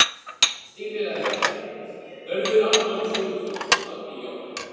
Stígvélaði kötturinn: Hörður, Anton Sigurðsson, Árni, Jóhann